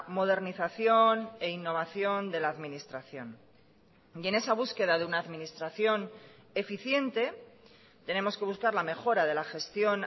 modernización e innovación de la administración y en esa búsqueda de una administración eficiente tenemos que buscar la mejora de la gestión